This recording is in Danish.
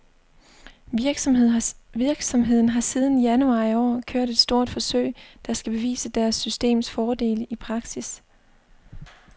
Virksomheden har siden januar i år kørt et stort forsøg, der skal bevise deres systems fordele i praksis.